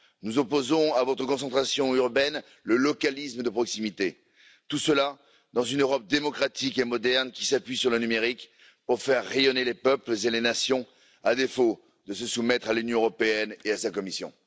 Nous opposons à votre concentration urbaine le localisme de proximité. Tout cela dans une Europe démocratique et moderne, qui s'appuie sur le numérique pour faire rayonner les peuples et les nations, à défaut de se soumettre à l'Union européenne et à sa Commission.